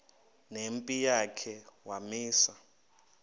nempi yakhe wamisa